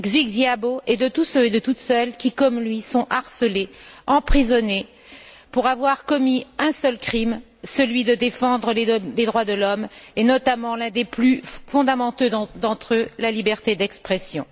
Xiaobao et de tous ceux et de toutes celles qui, comme lui, sont harcelés, emprisonnés, pour avoir commis un seul crime, celui de défendre les droits de l'homme, et notamment l'un des plus fondamentaux d'entre eux, la liberté d'expression.